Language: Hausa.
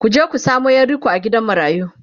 ku je ku samo Yar riƙo a gidan marayu!